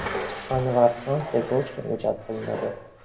Anvar ham tergov ishlariga jalb qilinadi.